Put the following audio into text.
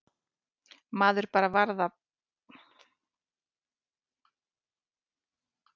Maður varð bara að passa sig á að álpast ekki inn á æfingasvæðin.